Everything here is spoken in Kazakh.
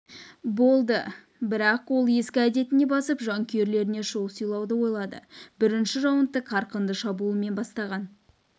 болды бірақ ол ескі әдетіне басып жанкүйерлеріне шоу сыйлауды ойлады бірінші раундты қарқынды шабуылмен бастаған